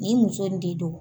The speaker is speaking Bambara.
Nin muso in de don.